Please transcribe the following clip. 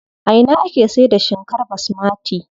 A ina ake saida shinkar basmati?